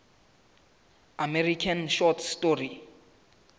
american short story